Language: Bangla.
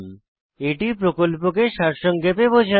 এটি প্রকল্পকে সারসংক্ষেপে বোঝায়